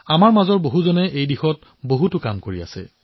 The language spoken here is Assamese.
আমাৰ অনেক দেশবাসীয়ে এই দায়িত্ব সুচাৰুৰূপে পালন কৰি আহিছে